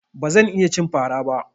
Ba zan iya cin fara ba.